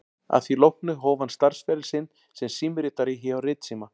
Að því loknu hóf hann starfsferil sinn sem símritari hjá Ritsíma